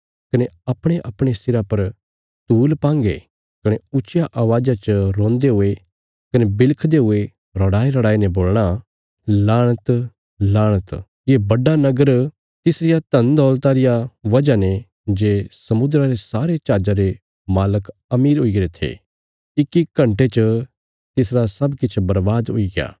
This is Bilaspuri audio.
कने अपणेअपणे सिरा पर धूल पान्गे कने ऊच्चिया अवाज़ा च रोन्दे हुये कने बिलखदे हुये रड़ाईरड़ाईने बोलणा लाणत लाणत ये बड्डा नगर तिसारिया धनदौलता रिया वजह ने जे समुद्रा रे सारे जहाजा रे मालक अमीर हुईगरे थे इक्की घण्टे च तिसरा सब किछ बर्बाद हुईग्या